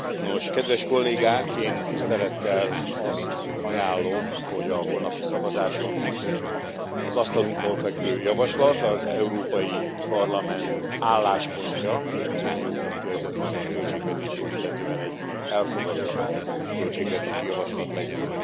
Nos, kedves Kollégák, én tisztelettel azt ajánlom, hogy a holnapi szavazáson az asztalunkon fekvő javaslat az Európai Parlament álláspontja az unió 2020 as költségvetését illetően egy elfogadott költségvetési javaslat legyen.